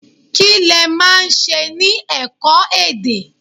Kí lẹ máa ń ṣe ní ẹ̀kọ́-èdè?